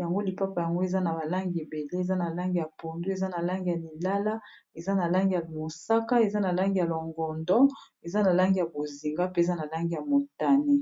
yango lipapa yango eza na balangi ebele eza na langi ya pondu eza na langi ya lilala eza na langi ya mosaka eza na langi ya longondo eza na langi ya boziga pe eza na langi ya motane